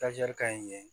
ka ɲi